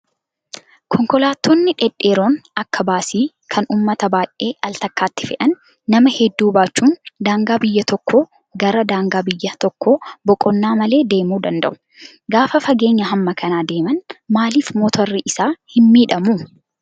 Konkolaattonni dhedheeroon akka baasii kan uummata baay'ee al takkaatti fe'an nama hedduu baachuun daangaa biyya tokkoo gara daangaa tokkoo boqonnaa malee deemuu danda'u. Gaafa fageenya hamma kanaa deeman maaliif motorri isaa hin miidhamuu?